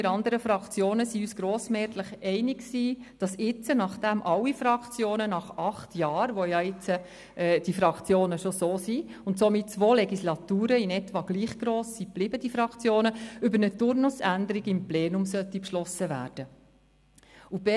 Wir anderen Fraktionen waren uns grossmehrheitlich einig, dass jetzt, nach dem alle Fraktionen nach acht Jahren, während derer die Fraktionen jetzt schon so sind, somit zwei Legislaturen lang in etwa gleich gross geblieben sind, über eine Turnusänderung im Plenum beschlossen werden sollte.